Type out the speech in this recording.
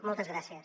moltes gràcies